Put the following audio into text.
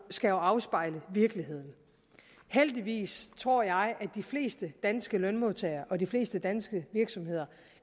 skal afspejle virkeligheden heldigvis tror jeg er de fleste danske lønmodtagere og de fleste danske virksomheder